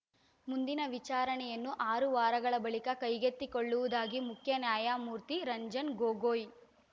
ಮುಂದಿನ ವಿಚಾರಣೆಯನ್ನು ಆರು ವಾರಗಳ ಬಳಿಕ ಕೈಗೆತ್ತಿಕೊಳ್ಳುವುದಾಗಿ ಮುಖ್ಯ ನ್ಯಾಯಮೂರ್ತಿ ರಂಜನ್ ಗೊಗೊಯ್